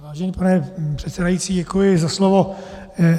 Vážený pane předsedající, děkuji za slovo.